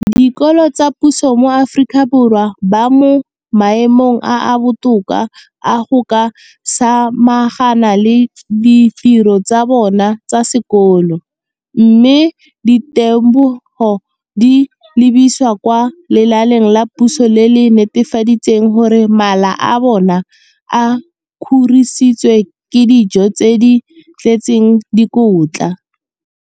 Dikolo tsa puso mo Aforika Borwa ba mo maemong a a botoka a go ka samagana le ditiro tsa bona tsa sekolo, mme ditebogo di lebisiwa kwa lenaaneng la puso le le netefatsang gore mala a bona a kgorisitswe ka dijo tse di tletseng dikotla.